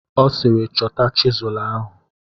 Ọ sịịrị, chọta chizụl ahụ!